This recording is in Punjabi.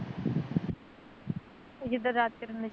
ਜਿਦਾਂ ਰਾਤ ਕਰਨ ਨੇ ਛੇੜ